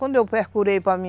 Quando eu procurei para mim,